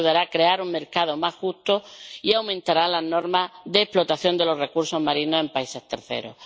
Esto ayudará a crear un mercado más justo y aumentará las normas de explotación de los recursos marinos en países terceros.